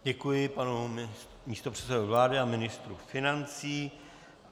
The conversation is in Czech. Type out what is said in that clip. Děkuji panu místopředsedovi vlády a ministru financí.